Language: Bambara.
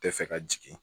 Tɛ fɛ ka jigin